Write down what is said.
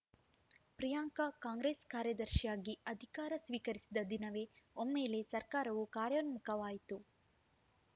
Priyanka Congress ಕಾರ್ಯದರ್ಶಿಯಾಗಿ ಅಧಿಕಾರ ಸ್ವೀಕರಿಸಿದ ದಿನವೇ ಒಮ್ಮೆಲೇ ಸರ್ಕಾರವು ಕಾರ್ಯೋನ್ಮುಖವಾಯಿತು